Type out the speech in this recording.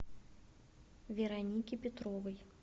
веронике петровой